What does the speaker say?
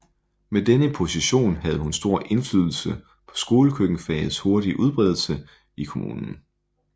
Med denne position havde hun stor indflydelse på skolekøkkenfagets hurtige udbredelse i kommunen